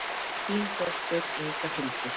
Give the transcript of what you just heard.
Þín dóttir, Inga Hildur.